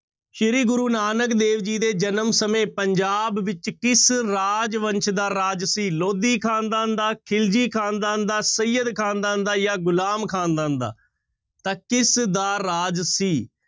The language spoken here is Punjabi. ਸ੍ਰੀ ਗੁਰੂ ਨਾਨਕ ਦੇਵ ਜੀ ਦੇ ਜਨਮ ਸਮੇਂ ਪੰਜਾਬ ਵਿੱਚ ਕਿਸ ਰਾਜਵੰਸ਼ ਦਾ ਰਾਜ ਸੀ ਲੋਧੀ ਖ਼ਾਨਦਾਨ ਦਾ, ਖਿਲਜੀ ਖ਼ਾਨਦਾਨ ਦਾ, ਸਯਦ ਖ਼ਾਨਦਾਨ ਦਾ ਜਾਂ ਗੁਲਾਮ ਖ਼ਾਨਦਾਨ ਦਾ, ਤਾਂ ਕਿਸਦਾ ਰਾਜ ਸੀ?